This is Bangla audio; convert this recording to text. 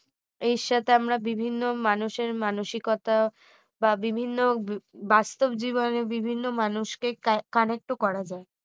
এর সাথে আমরা বিভিন্ন মানুষের মানসিকতা বা বিভিন্ন বাস্তব জীবনে বিভিন্ন মানুষকে connect ও করা যায়